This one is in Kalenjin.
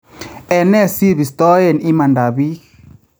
Ene si bistoeen imaandaab biik ?